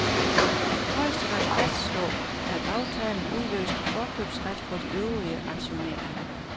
Højesteret fastslog, at aftalen udløste forkøbsret for de øvrige aktionærer.